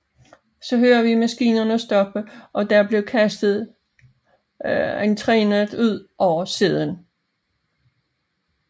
Så hører vi maskinerne stoppe og der bliver kastet entrenet ud over siden